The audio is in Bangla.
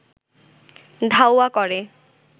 ধাওয়া করে